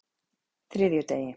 þriðjudegi